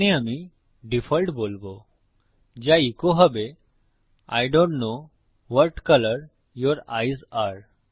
এখানে আমি ডিফল্ট বলবো যা ইকো হবে I don't know what colour your eyes আরে